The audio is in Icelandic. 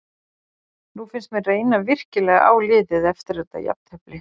Nú finnst mér reyna virkilega á liðið eftir þetta jafntefli.